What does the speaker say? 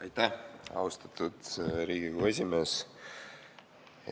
Aitäh, austatud Riigikogu esimees!